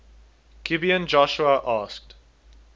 gibeon joshua asked